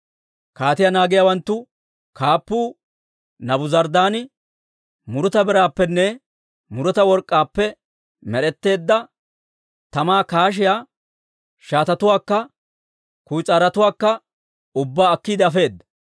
Kaatiyaa naagiyaawanttu kaappuu Naabuzaradaani muruta biraappenne muruta work'k'aappe med'etteedda tamaa kaashiyaa shaatatuwaakka kuyis'aarotuwaakka ubbaa akkiide afeedda.